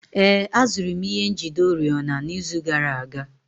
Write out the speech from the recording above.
Ee, azụrụ m ihe njide oriọna n'izu gara aga